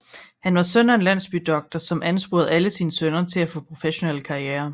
Han var søn af en landsbydoktor som ansporede alle sine sønner til at få professionelle karrierer